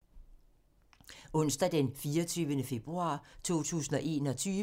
Onsdag d. 24. februar 2021